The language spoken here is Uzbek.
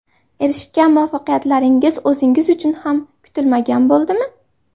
Erishgan muvaffaqiyatlaringiz o‘zingiz uchun ham kutilmagan bo‘ldimi?